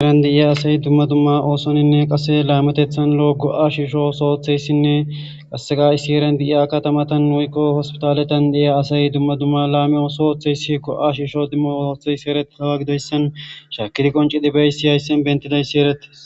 heeran de7iya asay dumma dumma oosoninne qase laamatethan lo7o go7a shiisho so oththeyssinne qasseqa7issi eran di7iya katamatan woykko hospitaletan deiya asay dumma dumma laami ooso oththeyssi go7a shiisho dimma ootheysi erei hawa gidoyssan shaakidi qonci dibeysi hayssen bentidayssi eretes